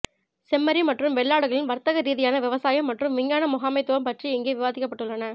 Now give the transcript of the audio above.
செம்மறி மற்றும் வெள்ளாடுகளின் வர்த்தகரீதியான விவசாயம் மற்றும் விஞ்ஞான முகாமைத்துவம் பற்றி இங்கே விவாதிக்கப்பட்டுள்ளன